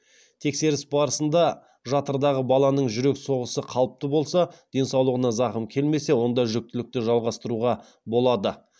тексеріс барысында жатырдағы баланың жүрек соғысы қалыпты болса денсаулығына зақым келмесе онда жүктілікті жалғастыруға болады